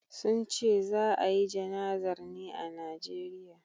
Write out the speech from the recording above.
sunce za a yi jana'zar ne a Nigeria